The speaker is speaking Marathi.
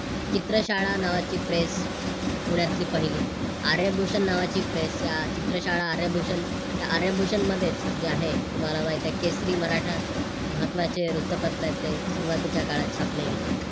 चित्रशाळा नावाची प्रेस अह पुण्यातली पहिली. आर्यभूषण नावाची प्रेस या चित्रशाळा आर्यभूषण, या आर्यभूषणमध्येच जे आहे तुम्हाला माहीत आहे केसरी मराठा महत्त्वाचे वृत्तपत्र सुरुवातीच्या काळात छापले गेले.